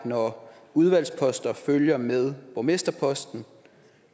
når udvalgsposter følger med borgmesterposter